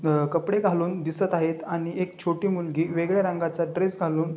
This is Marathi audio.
अह कपडे घालून दिसत आहेत आणि एक छोटी मुलगी वेगळ्या रंगाचा ड्रेस घालून--